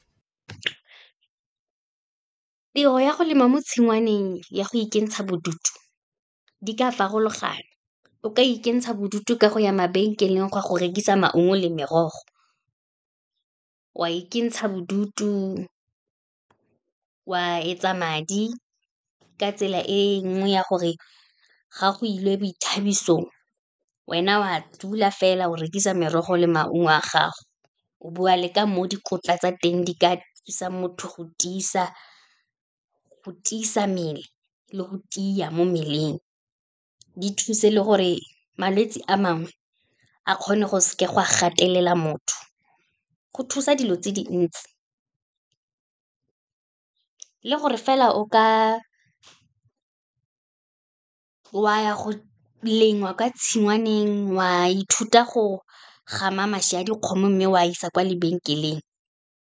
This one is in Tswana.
Tiro ya go lema mo tshingwaneng ya go ikentsha bodutu, di ka farologana, o ka ikentsha bodutu ka go ya mabenkeleng go a go rekisa maungo le merogo, wa ikentsha bodutu wa etsa madi, ka tsela e nngwe ya gore ga go ilwe boithabisong, wena o a dula fela o rekisa merogo le maungo a gago, o bua le ka mo dikotla tsa teng di ka thusa motho go tiisa mmele le go tia mo mmeleng. Di thusa le gore malwetse a mangwe a kgone go seka gwa gatelela motho, go thusa dilo tse dintsi. Le gore fela o ka, wa ya go lema kwa tshingwaneng, wa ithuta go gama mašwi a dikgomo, mme wa isa kwa mabankeleng.